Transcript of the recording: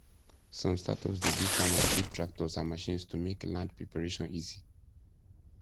some startups dey give farmers cheap tractors and machines to make land preparation easy